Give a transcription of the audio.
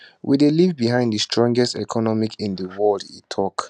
we dey leave behind di strongest economy in di world e tok